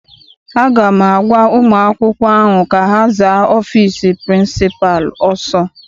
Aga m agwa ụmụ akwụkwọ ahụ ka ha zaa ọfịịsi pịrịnsịpalụ ọsọ!